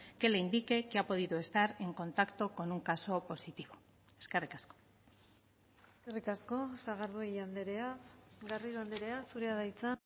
que le indique que ha podido estar en contacto con un caso positivo eskerrik asko eskerrik asko sagardui andrea garrido andrea zurea da hitza